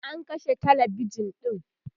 an kashe talabijan ɗin